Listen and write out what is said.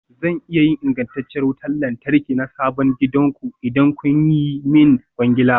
Zan iya yin ingantacciyar wutar lantarki na sabon gidanku, idan kun yi min kwangila.